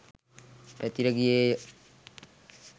පැතිර ගියේ ය